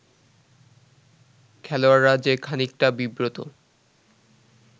খেলোয়াড়রা যে খানিকটা বিব্রত